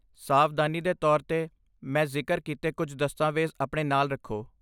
ਸਾਵਧਾਨੀ ਦੇ ਤੌਰ 'ਤੇ, ਮੈਂ ਜ਼ਿਕਰ ਕੀਤੇ ਕੁਝ ਦਸਤਾਵੇਜ਼ ਆਪਣੇ ਨਾਲ ਰੱਖੋ।